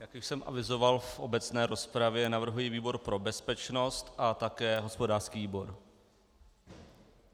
Jak už jsem avizoval v obecné rozpravě, navrhuji výbor pro bezpečnost a také hospodářský výbor.